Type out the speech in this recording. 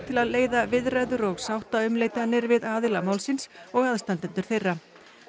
til að leiða viðræður og sáttaumleitanir við aðila málsins og aðstandendur þeirra